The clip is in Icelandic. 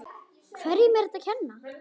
Hverjum er þetta að kenna?